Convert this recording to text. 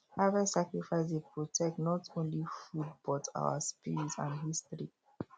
harvest sacrifice dey protect not only foodbut our spirit and history